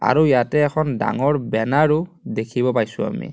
আৰু ইয়াতে এখন ডাঙৰ বেনাৰ ও দেখিব পাইছোঁ আমি.